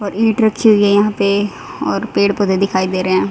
और इट रखी हुई है यहां पे और पेड़-पौधे दिखाई दे रहे हैं।